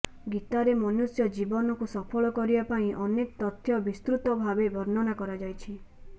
ଗୀତାରେ ମନୁଷ୍ୟ ଜୀବନକୁ ସଫଳ କରିବା ପାଇଁ ଅନେକ ତଥ୍ୟ ବିସୃତ ଭାବେ ବର୍ଣ୍ଣନା କରାଯାଇଛି